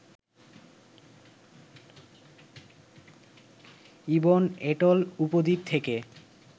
ibn atoll উপদ্বীপ থেকে